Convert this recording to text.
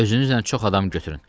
Özünüzlə çox adam götürün.